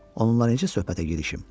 Onunla necə söhbətə girişəm?